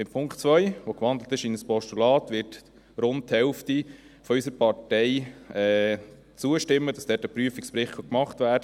Dem Punkt 2, der in ein Postulat gewandelt ist, wonach ein Prüfungsbericht gemacht werden kann, wird rund die Hälfte unserer Partei zustimmen.